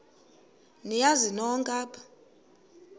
niyazi nonk apha